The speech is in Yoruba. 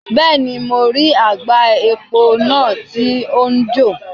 Bẹ́ẹ̀ni, mo rí àgbá epo náà tó ń jò.